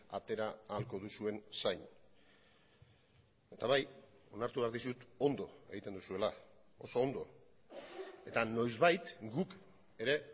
atera ahalko duzuen zain eta bai onartu behar dizut ondo egiten duzuela oso ondo eta noizbait guk ere